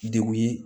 Degun ye